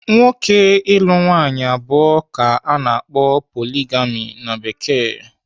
Nwoke ịlụ nwaanyị abụọ ka ana akpọ 'poligami' na Bekee.